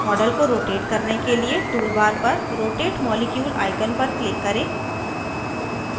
model को rotate करने के लिए टूलबार पर rotate molecule icon पर click करें